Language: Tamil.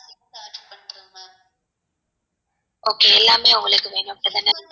okay எல்லாமே உங்களுக்கு வேணும்